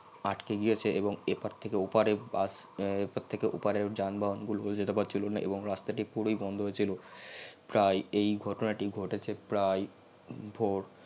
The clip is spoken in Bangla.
আটকে গিয়েছে এবং এপার থেকে অপারে bus এপার থেকে অপারে যানবাহন গুল জেতে পারছিলো না এবং রাস্তাটি পুরই বন্ধ হয়েছিল প্রায় এই ঘটনাটি ঘটেছে প্রায়